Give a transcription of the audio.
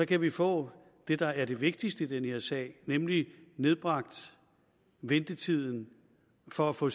kan vi få det der er det vigtigste i den her sag nemlig nedbragt ventetiden for at få